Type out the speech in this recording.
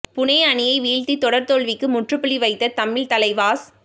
புனே அணியை வீழ்த்தி தொடர் தோல்விக்கு முற்றுப்புள்ளி வைத்த தமிழ் தலைவாஸ்